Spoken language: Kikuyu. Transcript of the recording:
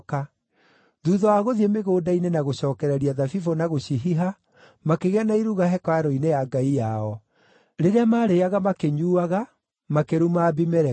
Thuutha wa gũthiĩ mĩgũnda-inĩ na gũcookereria thabibũ na gũcihiha, makĩgĩa na iruga hekarũ-inĩ ya ngai yao. Rĩrĩa maarĩĩaga na makĩnyuuaga, makĩruma Abimeleku.